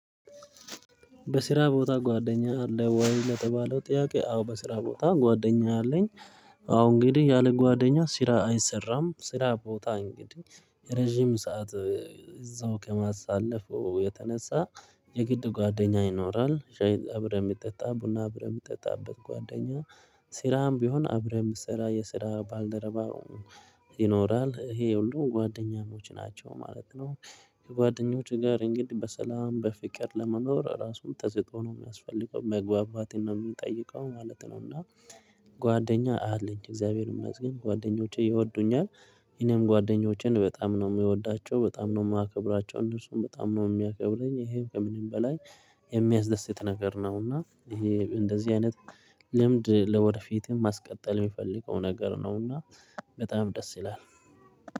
በስራ ቦታ ጓደኛ አለ ወይ ለተባለው ጥያቄ አዎ በስራ ቦታ ጓደኛ አለኝ። አሁን እንግዲህ ያለ ጓደኛ ስራ አይሰራም ስራ ቦታ እንግዲህ ረጅም ሰዓት። እዛው ከማሳለፉ የተነሳ የግድ ጓደኛ ይኖራል እብረህ የምጠጣ ቡና እብረህ የሚጠጣበት ጓደኛ። ስራም ቢሆን አብረህ የምትሰራ የስራ ባልደረባ። ይኖራል ይሄ የሁሉ ጓደኛሞች ናቸው ማለት ነው። ከጓደኞች ጋር እንግዲህ በሰላም በፍቅር ለመኖር ራሱም ተስጦ ነው የሚያስፈልገው መግባባትን ነው የምንጠይቀው ማለት ነው። እና ጓደኛ አለኝ እግዚአብሔርም ይመስገን ጓደኞቼ ይወዱኛል። እንም ጓደኞቼን በጣም ነው የምወዳቸው በጣም ነው የማከብራቸው እነሱም በጣም ነው የሚያከብረኝ ይሄም ከምንም በላይ የሚያስደስት ነገር ነው። እና ይሄ እንደዚህ አይነት ልምድ ለወደፊትም ማስቀጠል የምፈልገው ነገር ነውና በጣም ደስ ይላል